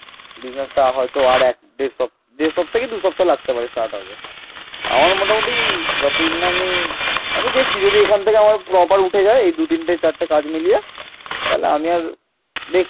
আমি দেখছি যদি এখান থেকে আমার proper উঠে যায় এই দু তিনটে চারটে কাজ মিলিয়ে তাহলে আমি আর দেখছি